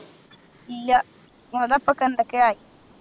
ഇല്ല അത് അപ്പൊക്കെ എന്തൊക്കെയായി